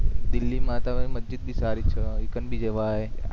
દિલ્લી માતા મસ્જિદ ભી સારી છે એકમ ભી જવાય